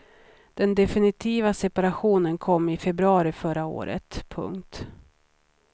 Den definitiva separationen kom i februari förra året. punkt